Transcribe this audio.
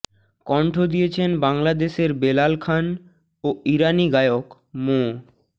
কণ্ঠ দিয়েছেন বাংলাদেশের বেলাল খান ও ইরানি গায়ক মো